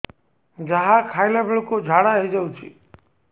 ଯାହା ଖାଇଲା ବେଳକୁ ଝାଡ଼ା ହୋଇ ଯାଉଛି